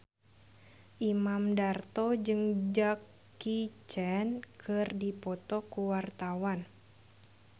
Imam Darto jeung Jackie Chan keur dipoto ku wartawan